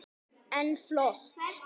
En flott!